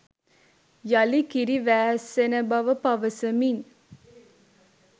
යළි කිරි වෑස්සෙන බව පවසමින්